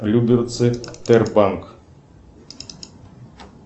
люберцы тербанк